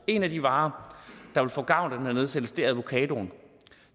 en af de varer der vil få gavn af den her nedsættelse avokadoen